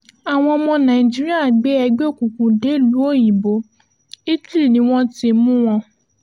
àwọn ọmọ nàìjíríà gbé ẹgbẹ́ òkùnkùn dèlùú òyìnbó italy ni wọ́n ti mú wọn